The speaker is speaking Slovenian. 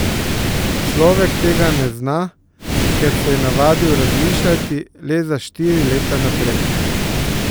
Človek tega ne zna, ker se je navadil razmišljati le za štiri leta naprej.